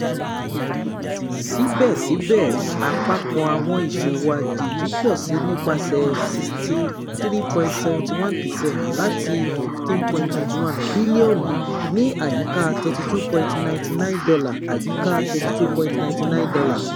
Sibẹsibẹ, apapọ awọn iṣowo ajeji pọ si nipasẹ sixty three point seven one percent lati N fifteen point two one bilionu (ni ayika $ thirty two point nine nine ayika $ thirty two point nine nine